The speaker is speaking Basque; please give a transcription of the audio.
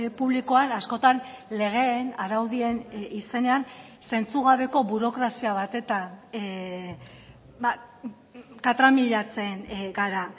publikoan askotan legeen araudien izenean zentzugabeko burokrazia batetan katramilatzen gara